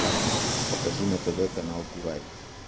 покажи на тв канал курай